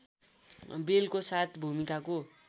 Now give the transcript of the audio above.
बेलको साथ भूमिकाको